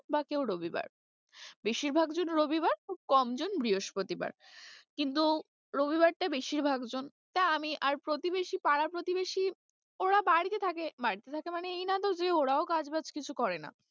বা কেউ রবিবার, বেশিরভাগ জন রবিবার খুব কম জন বৃহস্পতিবার কিন্তু রবিবারটা বেশিরভাগ জন তা আমি আর প্রতিবেশী পাড়া প্রতিবেশী ওরা বাড়িতে থাকে বাড়িতে থাকে মানে এই নাতো যে ওরাও কাজবাজ কিছু করে না।